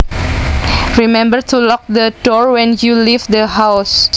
Remember to lock the door when you leave the house